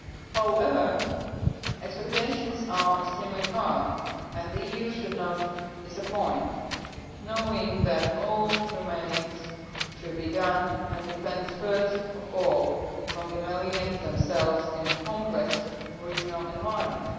However, expectations are extremely high and the EU should not disappoint knowing that all remains to be done and depends first of all on the Malians themselves in a complex regional environment.